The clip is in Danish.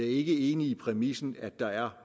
ikke enig i præmissen at der er